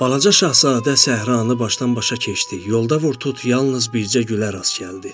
Balaca Şahzadə səhranı başdan-başa keçdi, yolda vur-tut yalnız bircə gülə rast gəldi.